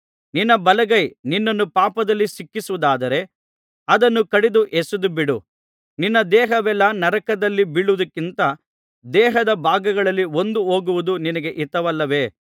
ನಿನ್ನ ಬಲಗೈ ನಿನ್ನನ್ನು ಪಾಪದಲ್ಲಿ ಸಿಕ್ಕಿಸುವುದಾದರೆ ಅದನ್ನು ಕಡಿದು ಎಸೆದುಬಿಡು ನಿನ್ನ ದೇಹವೆಲ್ಲಾ ನರಕದಲ್ಲಿ ಬೀಳುವುದಕ್ಕಿಂತ ದೇಹದ ಭಾಗಗಳಲ್ಲಿ ಒಂದು ಹೋಗುವುದು ನಿನಗೆ ಹಿತವಲ್ಲವೇ